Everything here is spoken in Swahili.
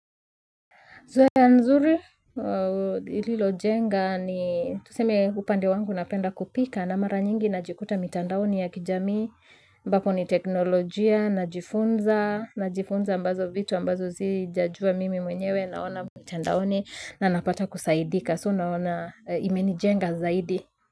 Zoea nzuri lililo jenga ni tuseme upande wangu napenda kupika na mara nyingi na jikuta mitandaoni ya kijamii mbapo ni teknolojia na jifunza na jifunza ambazo vitu ambazo sijajua mimi mwenyewe naona mitandaoni na napata kusaidika So naona imeni jenga zaidi.